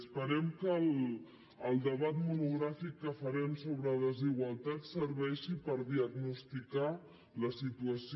esperem que el debat monogràfic que farem sobre desigualtats serveixi per diagnosticar la situació